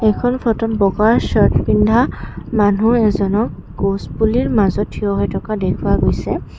এইখন ফটোত বগা চাৰ্ট পিন্ধা মানুহ এজনক গছ পুলিৰ মাজত থিয় হৈ থকা দেখুওৱা গৈছে।